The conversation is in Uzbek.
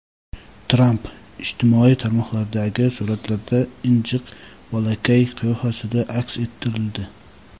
Tramp ijtimoiy tarmoqlardagi suratlarda injiq bolakay qiyofasida aks ettirildi.